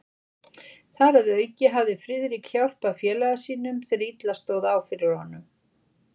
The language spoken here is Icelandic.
Þar að auki hafði Friðrik hjálpað félaga sínum, þegar illa stóð á fyrir honum.